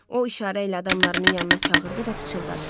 O işarə ilə adamlarını yanına çağırdı və pıçıldadı: